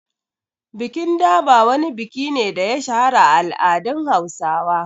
Bikin Durbar wani biki ne da ya shahara a al’adun Hausawa.